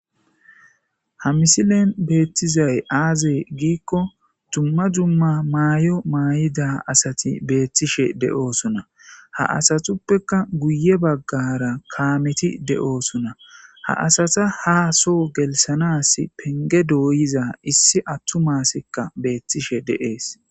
Ha misilen beettizay aazee giikko dumma dumma maayo maay'ida asati beettishe de'oosuna ha asatuppeka guye baggara kaameti de'oosuna ha asata haa so gelsanas penge dooyiza issi attu maassikka beettishe dees